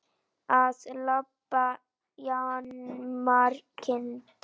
Að lambi jarmar kind.